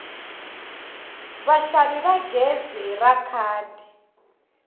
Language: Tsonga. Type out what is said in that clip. vaxavi va gezi ra khadi